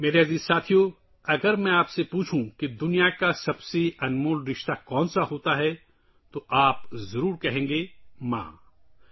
میرے پیارے دوستو، اگر میں آپ سے پوچھوں کہ دنیا کا سب سے قیمتی رشتہ کون سا ہے تو آپ ضرور کہیں گے – “ماں”